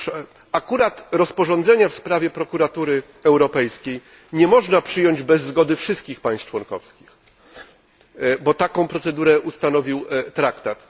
Otóż, akurat rozporządzenia w sprawie Prokuratury Europejskiej nie można przyjąć bez zgody wszystkich państw członkowskich, gdyż taką procedurę ustanowił traktat.